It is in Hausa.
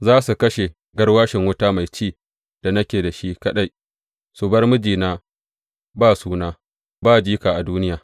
Za su kashe garwashin wuta mai ci da nake da shi kaɗai, su bar mijina ba suna, ba jika, a duniya.